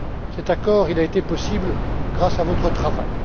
Cet accord, il a été possible grâce à votre travail.